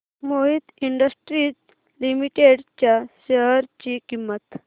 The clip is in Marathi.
मोहित इंडस्ट्रीज लिमिटेड च्या शेअर ची किंमत